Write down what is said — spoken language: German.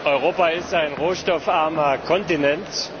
Europa ist ein rohstoffarmer Kontinent.